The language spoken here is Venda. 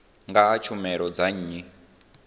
nga ha tshumelo dza nnyi